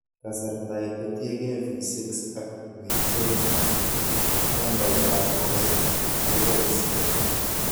Kasartaake kotienge V6 ak V10, nambaitab rows keboisien